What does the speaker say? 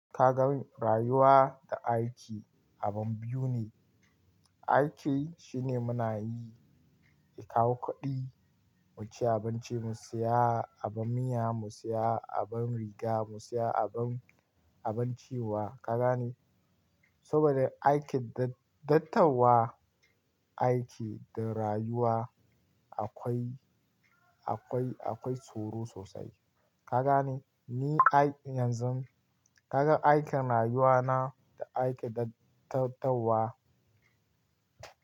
Ka gan rayuwa da aiki abu biyu ne. Aiki shine muna yi, ya kawo kuɗi, mu ci abinci, mu siya abin miya, mu siya abin riga, mu siya abin, abin ciwa. Ka gane? Saboda aikin dattawa, aiki da rayuwa akwai, akwai, akwai tsoro sosai. Ka gane? Ni aiki yanzu ka gan aikin rayuwa na da aikin dattawa.